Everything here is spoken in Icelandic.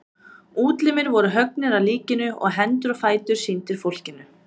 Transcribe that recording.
Útlimir voru höggnir af líkinu og hendur og fætur sýndir fólkinu.